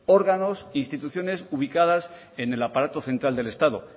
órganos instituciones ubicadas en el aparato central del estado